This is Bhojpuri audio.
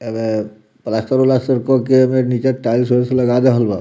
एमे प्लास्टर उलास्टर कर के एमें नीचे टाइल्स वाइल्स लगा देहल बा।